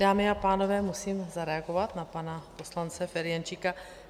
Dámy a pánové, musím zareagovat na pana poslance Ferjenčíka.